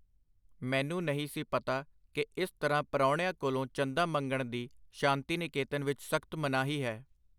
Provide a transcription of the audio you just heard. ਮੈਨੂੰ ਨਹੀਂ ਸੀ ਪਤਾ ਕਿ ਇਸ ਤਰ੍ਹਾਂ ਪਰਾਹੁਣਿਆਂ ਕੋਲੋਂ ਚੰਦਾ ਮੰਗਣ ਦੀ ਸ਼ਾਂਤੀਨਿਕੇਤਨ ਵਿਚ ਸਖਤ ਮਨਾਹੀ ਹੈ.